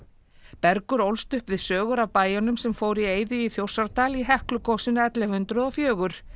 Bergur ólst upp við sögur af bæjunum sem fóru í eyði í Þjórsárdal í Heklugosinu ellefu hundruð og fjögur